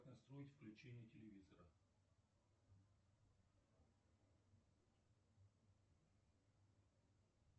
настроить включение телевизора